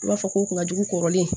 I b'a fɔ ko kun ka jugu kɔrɔlen